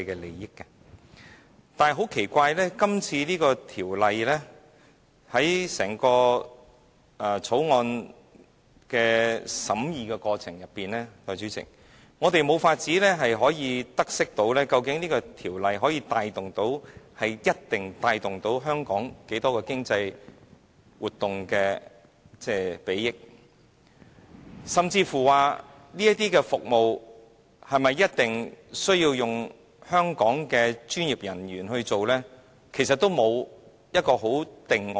然而，代理主席，奇怪的是，在整項《條例草案》的審議過程中，我們無法得悉《條例草案》能帶動多少香港經濟活動的裨益，甚至這些服務是否一定需要由香港的專業人員來進行，其實全都沒有一個定案。